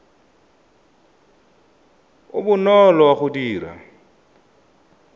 o bonolo wa go dira